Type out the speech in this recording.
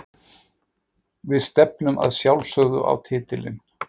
Við stefnum að sjálfsögðu á titilinn.